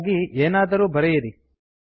ಹಾಗಾಗಿ ಏನಾದರೂ ಬರೆಯಿರಿ